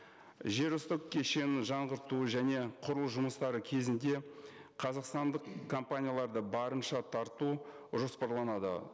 жер үсті кешенін жаңғырту және құру жұмыстары кезінде қазақстандық компанияларды барынша тарту жоспарланады